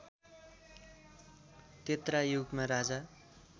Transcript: त्रेता युगमा राजा